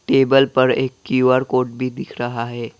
Table पर एक QR code भी दिख रहा है।